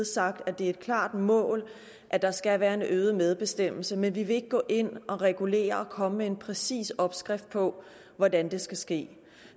sagt at det er et klart mål at der skal være en øget medbestemmelse men vi vil ikke gå ind og regulere og komme med en præcis opskrift på hvordan det skal ske